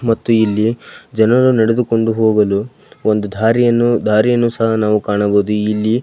ಮತ್ತು ಇಲ್ಲಿ ಜನರು ನಡೆದುಕೊಂಡು ಹೋಗಲು ಒಂದು ದಾರಿಯನ್ನು ದಾರಿಯನ್ನು ಸಹ ನಾವು ಕಾಣಬಹುದು ಇಲ್ಲಿ.